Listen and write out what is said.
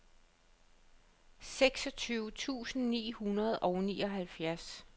seksogtyve tusind ni hundrede og nioghalvtreds